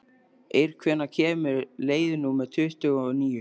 Eir, hvenær kemur leið númer tuttugu og níu?